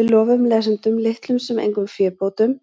Við lofum lesendum litlum sem engum fébótum